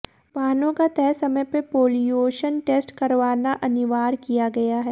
वाहनों का तय समय पर पोल्यूशन टेस्ट करवाना अनिवार्य किया गया है